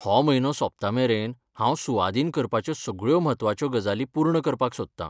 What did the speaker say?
हो म्हयनो सोंपतामेरेन हांव सुवादीन करपाच्यो सगळ्यो म्हत्वाच्यो गजाली पूर्ण करपाक सोदता.